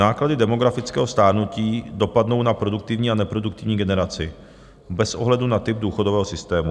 Náklady demografického stárnutí dopadnou na produktivní a neproduktivní generaci bez ohledu na typ důchodového systému.